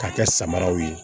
K'a kɛ samaraw ye